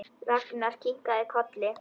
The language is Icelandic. Ragnar kinkaði kolli.